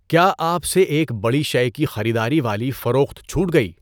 کیا آپ سے ایک بڑی شے کی خریداری والی فروخت چھوٹ گئی؟